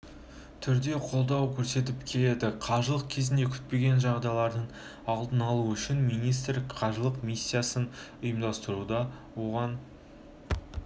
түрде қолдау көрсетіп келеді қажылық кезінде күтпеген жағдайлардың алдын алу үшін министрлік қажылық-миссиясын ұйымдастырады оған